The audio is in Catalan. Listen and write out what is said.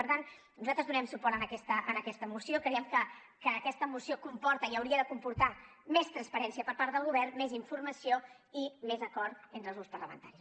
per tant nosaltres donarem suport a aquesta moció creiem que aquesta moció comporta i hauria de comportar més transparència per part del govern més informació i més acord entre els grups parlamentaris